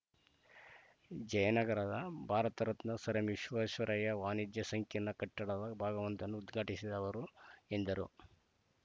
ಜಯನಗರದ ಭಾರತ ರತ್ನ ಸರ್‌ಎಂವಿಶ್ವೇಶ್ವರಯ್ಯ ವಾಣಿಜ್ಯ ಸಂಕಿರ್ಣ ಕಟ್ಟಡದ ಭಾಗವೊಂದನ್ನು ಉದ್ಘಾಟಿಸಿದ ಅವರು ಎಂದರು